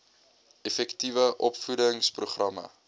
effektiewe opvoedings programme